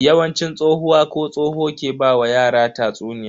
Yawanci tsohuwa ko tsoho ke ba wa yara tatsuniya.